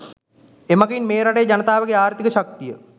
එමගින් මේ රටේ ජනතාවගේ ආර්ථික ශක්තිය